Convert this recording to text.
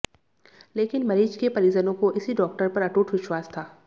लेकिन मरीज के परिजनों को इसी डाक्टर पर अटूट विश्वास था